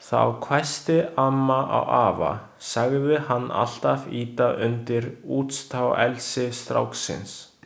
Þá hvæsti amma á afa, sagði hann alltaf ýta undir útstáelsi stráksins.